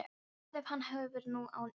En hvað ef hann hefur nú unnið?